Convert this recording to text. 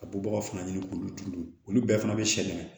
Ka bɔ baga fana ɲini k'olu turu olu bɛɛ fana bɛ sɛgɛn